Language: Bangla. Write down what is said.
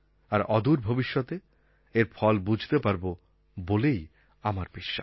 আর অদূর ভবিষ্যতে এর ফল বুঝতে পারব বলে আমার বিশ্বাস